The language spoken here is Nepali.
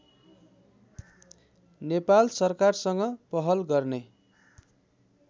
नेपाल सरकारसँग पहल गर्ने